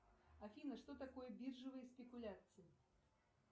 афина что такое биржевые спекуляции